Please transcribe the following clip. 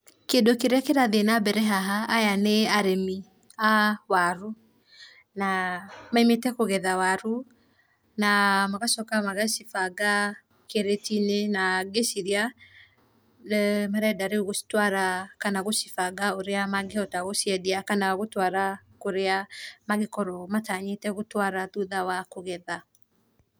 Kĩndũ kĩrĩa kĩrathiĩ na mbere haha aya nĩ arĩmi a warũ, na maĩmĩte kũgetha warũ na magacoka magacibanga kĩratiinĩ na gĩcirĩa, marenda rĩũ gũcitwara kana gũcibanga ũrĩa magĩhota gũciendĩa kana gũtwara kũrĩa magĩkorwo matanyĩte gũtwara thũtha wa kũgetha .